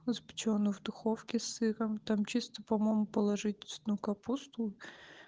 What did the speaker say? запечённый в духовке с сыром там чисто по-моему положить цветную капусту